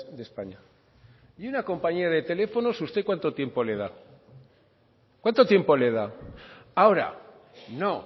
de españa y una compañía de teléfonos usted cuánto tiempo le da cuánto tiempo le da ahora no